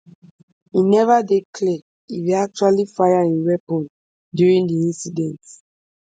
e neva dey clear if e actually fire im weapon during di incident